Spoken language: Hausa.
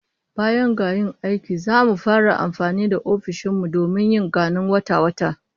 Baya ga yin aiki, zamu fara amfani da ofishin mu domin yin ganin wata-wata